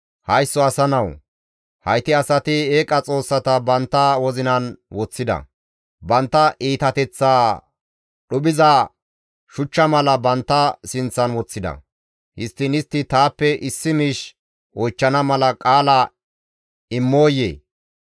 «Haysso asa nawu! Hayti asati eeqa xoossata bantta wozinan woththida; bantta iitateththaa dhuphiza shuchcha mala bantta sinththan woththida; histtiin istti taappe issi miish oychchana mala qaala immooyee?